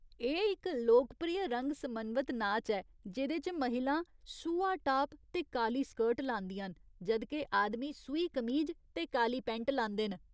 एह् इक लोकप्रिय रंग समन्वित नाच ऐ जेह्दे च महिलां सूहा टाप ते काली स्कर्ट लांदियां न, जद् के आदमी सूही कमीज ते काली पैंट लांदे न।